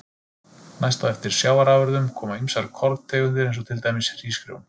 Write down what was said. Næst á eftir sjávarafurðum koma ýmsar korntegundir eins og til dæmis hrísgrjón.